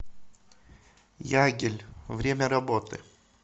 ягель время работы